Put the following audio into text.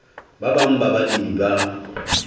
ba bang ba balemi ba